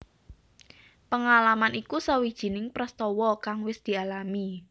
Pengalaman iku sawijining prastawa kang wis dialami